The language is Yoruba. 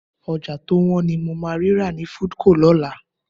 Ọjọ́ tó wọ́n ni mo máa rí rà ní Foodco lọ́la